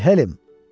Vülhelim!